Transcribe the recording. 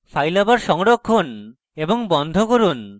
files আবার সংরক্ষণ এবং বন্ধ করুন